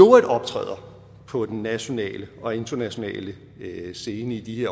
øvrigt optræder på den nationale og internationale scene i de